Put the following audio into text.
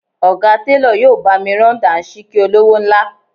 Ọ̀gá télọ̀ yóò bá mi rán Dàńṣíkí olówó ńlá